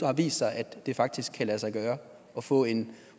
har vist sig at det faktisk kan lade sig gøre at få en